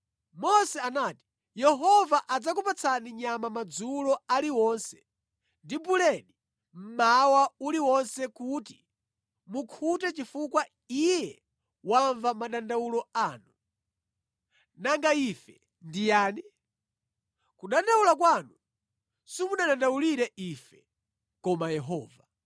Mose anati, “Yehova adzakupatsani nyama madzulo aliwonse ndi buledi mmawa uliwonse kuti mukhute chifukwa Iye wamva madandawulo anu. Nanga ife ndi yani? Kudandaula kwanu simudandaulira ife, koma Yehova.”